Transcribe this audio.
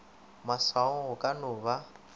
maswaong go ka no ba